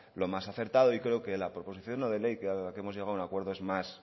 lo más acertado y creo que la proposición no de ley a la que hemos llegado es un acuerdo es más